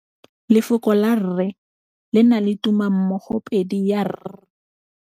Lefoko la rre, le na le tumammogôpedi ya, r.